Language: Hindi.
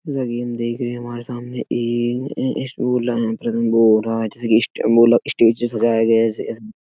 यह गेम देख रहे हो हमारे सामने एक अह प्रथम बोर्ड आज इसी लिस्ट मेला स्टेज से सजाया गया है। जिसे --